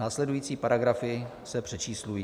Následující paragrafy se přečíslují.